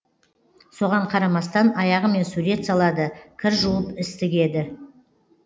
соған қарамастан аяғымен сурет салады кір жуып іс тігеді